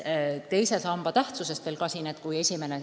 Teise samba tähtsusest ka veel natuke.